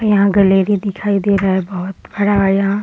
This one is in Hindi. यहाँ गैलरी दिखाई दे रहा है बहुत बड़ा है यहाँ ।